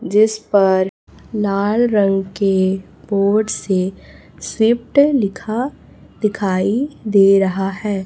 जिस पर लाल रंग के बोर्ड से शिफ्ट लिखा दिखाई दे रहा है।